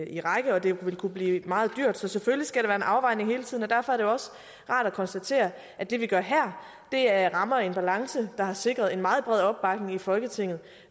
i række og det kunne blive meget dyrt så selvfølgelig skal der være en afvejning hele tiden og derfor er det også rart at konstatere at det vi gør her her rammer en balance der har sikret en meget bred opbakning i folketinget